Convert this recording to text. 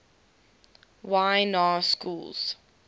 y na schools